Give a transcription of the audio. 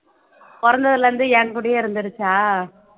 பொறந்ததுல இருந்து என்கூடயே இருந்துருச்சா